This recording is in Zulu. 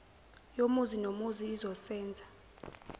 yomuzi nomuzi izosenza